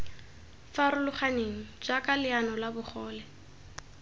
farologaneng jaaka leano la bogole